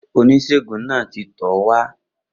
Oníṣègùn náà ti tọ̀ ọ́ wá.